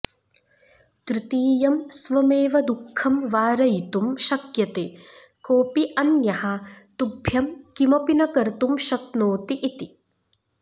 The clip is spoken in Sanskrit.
तृतीयं स्वमेव दुःखं वारयितुं शक्यते कोऽपि अन्यः तुभ्यं किमपि न कर्तुं शक्नोति इति